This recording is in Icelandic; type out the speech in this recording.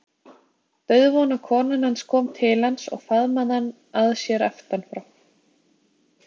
Dauðvona konan hans kom til hans og faðmaði hann að sér aftanfrá.